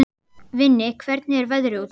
Vinni, hvernig er veðrið úti?